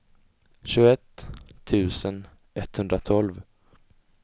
tjugoett tusen etthundratolv